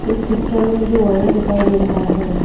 इस पिक्चर में मुझे वाइन दिखाई दे रहा है।